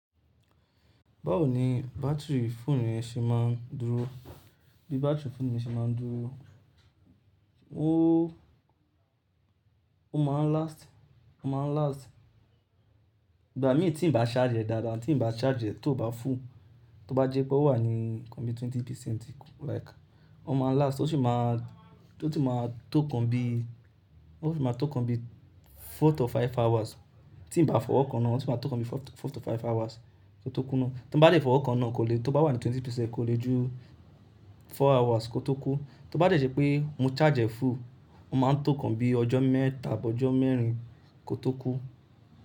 Báwo ni battery fóònù yẹn ṣe máa ń dúró? Bí battery fóònù yẹn ṣe máa ń dúró, ó, ó máa ń last, ó máa ń last, ìgbà mí tí n bá charge e dáadáa, tí n bá charge e tió bá full, tó bá jẹ́ pé ó wà ní nkan bí twenty percent like, ó máa last, ó sì máa, tó ti máa tó nkan bí, ó sì máa tó nkan bí four to five hours tí n bá fọwọ́ kan na, ó sì máa tó nkan bí four to five hours kó tó kú ná. Tin bá dẹ fọwọ́ kan ná, kò lè tó bá wà ní twenty percent kò lè ju four hours kó tó kú. Tó bá jẹ́ pé mo charge e full, ó máa ń tó nkan bí ọjọ́ mẹ́ta abi ọjọ́ mẹ́rin kó tó kú.